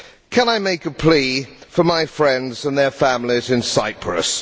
Can I make a plea for my friends and their families in Cyprus?